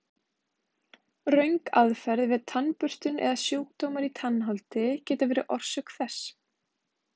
Röng aðferð við tannburstun eða sjúkdómar í tannholdi geta verið orsök þess.